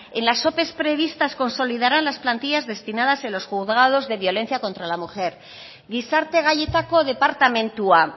en las ope previstas consolidarán las plantillas destinadas en los juzgados de violencia contra la mujer gizarte gaietako departamentua